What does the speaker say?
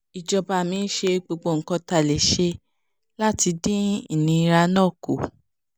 ìjọba mi ń ṣe gbogbo nǹkan tá a lè ṣe láti dín ìnira náà kù